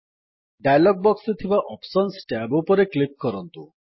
dialog ବକ୍ସରେ ଥିବା options tab ଉପରେ କ୍ଲିକ୍ କରନ୍ତୁ